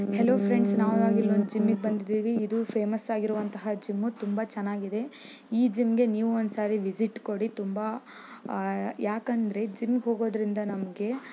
hello friends ನಾವು ಈಗ ಒಂದು ಜಿಮ್ಮಿಗೆ ಬಂದಿದೀವಿ ಇದು ಫೇಮಸ್ ಆಗಿರುವಂತ ಜಿಮ್ ತುಂಬಾ ಚೆನ್ನಾಗಿ ಇದೆ ಈ ಜಿಮ್ ಗೆ ನೀವು ಒಂದ್ಸಲ ವಿಸಿಟ್ ಕೊಡಿ ತುಂಬಾ ಯಾಕಂದ್ರೆ ಜಿಮ್ ಗೆ ಹೋಗೋದಿಂದ ನಮಗೆ --